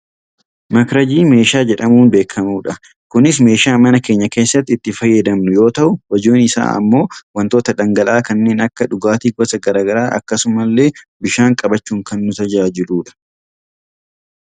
Makitajii meeshaa jedhamuun beekkamudha. Kunis meeshaa mana keenya keessatti itti fayyadamnu yoo ta'u hojiin isaa ammoo wantoota dhangala'aa kanneen akka dhugaatii gosa gara garaa akkasumasillee bishaan qabachuun kan nu tajaajiludha.